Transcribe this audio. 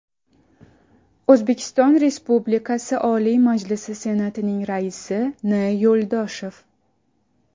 O‘zbekiston Respublikasi Oliy Majlisi Senatining Raisi N. Yo‘ldoshev.